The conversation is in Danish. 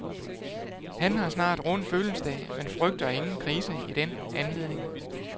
Han har snart rund fødselsdag, men frygter ingen krise i den anledning.